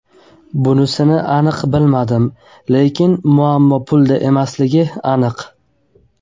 Bunisini aniq bilmadim, lekin muammo pulda emasligi aniq.